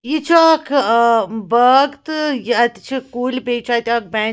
.یہِ چُھ اکھ آباغ تہٕ یہِ اَتہِ چھ کُلۍبیٚیہِ چُھ اَتہِ اکھ بینک